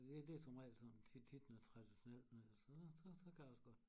Det det som regel sådan tit tit noget traditionelt noget så så så kan jeg også godt